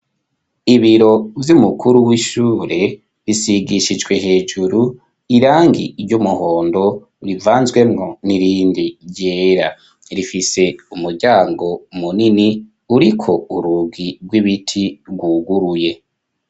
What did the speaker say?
Ibiro vy'umukuru w'ishure bisigishijwe hejuru irangi ry'umuhondo rivanzwemo n'irindi yera rifise umuryango munini uriko urugi rw'ibiti rwuguruye.